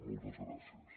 moltes gràcies